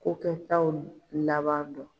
Ko kɛ taw laban dɔn.